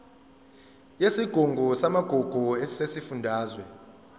yesigungu samagugu sesifundazwe